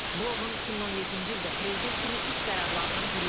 Bu onun 2017-ci ildə prezident kimi ilk qərarlarından biri idi.